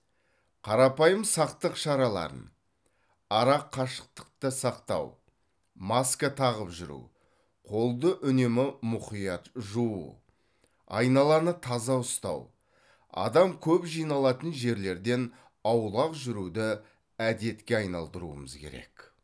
қарапайым сақтық шараларын арақашықтықты сақтау маска тағып жүру қолды үнемі мұқият жуу айналаны таза ұстау адам көп жиналатын жерлерден аулақ жүруді әдетке айналдыруымыз керек